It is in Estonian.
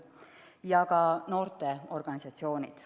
Samuti noorteorganisatsioonid.